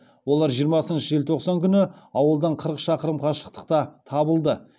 олар жиырмасыншы желтоқсан күні ауылдан қырық шақырым қашықтықта табылды